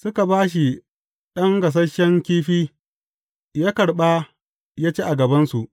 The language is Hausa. Suka ba shi ɗan gasasshen kifi, ya karɓa ya ci a gabansu.